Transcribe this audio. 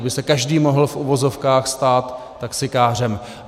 Aby se každý mohl v uvozovkách stát taxikářem.